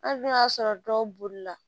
Hali n'o y'a sɔrɔ dɔw bolila